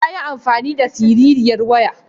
Yayi amfani da siririyar waya.